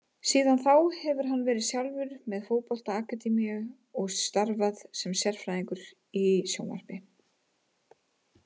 Síðan þá hefur hann verið sjálfur með fótbolta akademíu og starfað sem sérfræðingur í sjónvarpi.